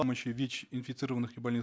помощи вич инфицированных и больных